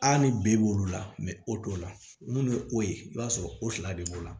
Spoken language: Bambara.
ni b'olu la o t'o la n'u ye o ye i b'a sɔrɔ o fila de b'o la